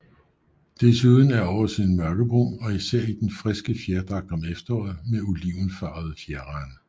Desuden er oversiden mørkebrun og især i den friske fjerdragt om efteråret med olivenfarvede fjerrande